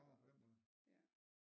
Nårh på den måde